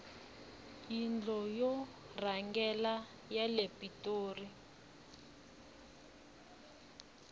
yindlo ya vurhangeri yile pitoli